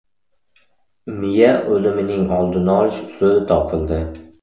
Miya o‘limining oldini olish usuli topildi.